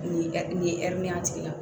Nin nin ye a tigila